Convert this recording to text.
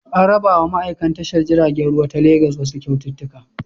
An rabawa ma'aikan tashar jiragen ruwa ta Legas wasu kyautuka.